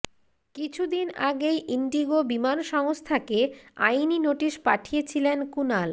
কিছুদিন আগেই ইন্ডিগো বিমান সংস্থাকে আইনি নোটিস পাঠিয়েছিলেন কুণাল